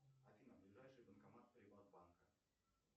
афина ближайший банкомат приватбанка